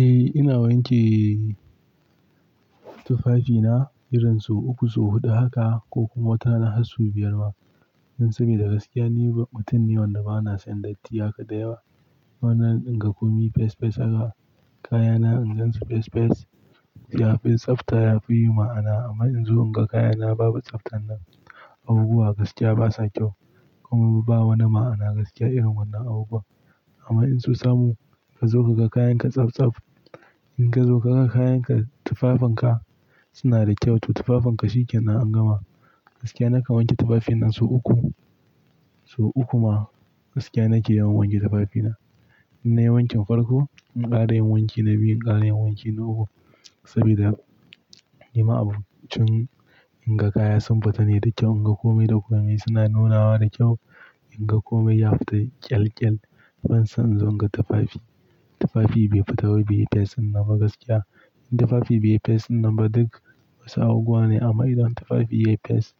Eh ina wanke tufafina irin su uku, su huɗu haka ko kuma watana har su biyar ma. Saboda gaskiya ni mutum ne wanda bana son datti haka da yawa. Wannan in ga komai fes fes aka kayana, in gan su fes fes, liyafar tsafta yafi yi ma'ana. Amma in zo in ga kayana babu tsaftan nan, abubuwa gaskiya basa kyau. Kuma babu wani ma'ana gaskiya irin wannan abu. Amma in su samu ka zo ka ga kayan ka tsab tsaf, in ka zo ka ga kayan ka tufafen ka suna da kyau, to tufafen ka shi ke nan an gama. Gaskiya nakan wanke tufafina su uku, su uku ma gaskiya nake yawan wanke tufafina. In nayi wanke farko, in ƙara yin wanki na biyu, in ƙara yin wanki na uku. Saboda himma abun cin in ga kaya sun fita ne da kyau, in ga komai da komai suna nunawa da kyau, in ga komai ya fita ƙyal ƙyal, ban son in zo in ga tufafi, tufafi bai fita wai bai fes sinaba gaskiya. In tufafi bai fes sinaba duk wasu abubuwa ne, amma idan tufafi ya fes,